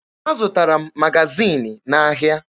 Azụtara m magaziini n'ahịa.